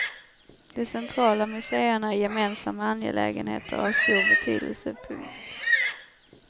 De centrala museerna är gemensamma angelägenheter av stor betydelse. punkt